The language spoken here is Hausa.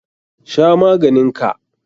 Sha maganin ka!